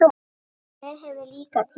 Hver hefur líka tíma?